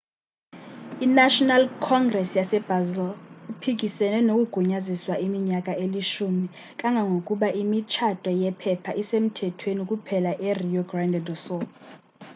i-national congres yasebrazil iphikisene nokugunyaziswa iminyaka eli-10 kangangokuba imitshato yempepha isemthethweni kuphela erio grande do sul